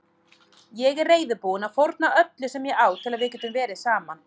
Ég er reiðubúinn að fórna öllu sem ég á til að við getum verið saman.